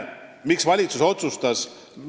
Miks valitsus nii otsustas?